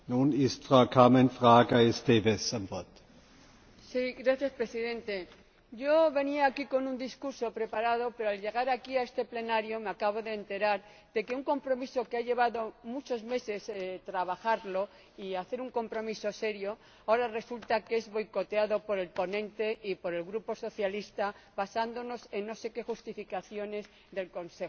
Señor Presidente, yo venía aquí con un discurso preparado, pero al llegar a este Pleno me acabo de enterar de que un compromiso que ha llevado muchos meses trabajarlo y hacer que sea un compromiso serio, ahora resulta que es boicoteado por el ponente y por el Grupo Socialista, basándose en no se qué justificaciones del Consejo.